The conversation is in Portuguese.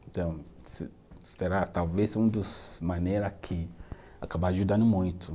Então, se será talvez um dos maneiras que acaba ajudando muito.